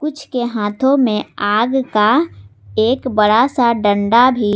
जिसके हाथों में आग का एक बड़ा सा दंड भी--